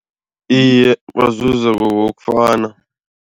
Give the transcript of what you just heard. Iye, bazuza ngokokufana.